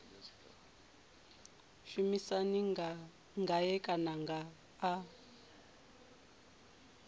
mushumisani ngae kana ene a